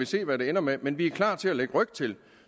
se hvad det ender med men vi er klar til at lægge ryg til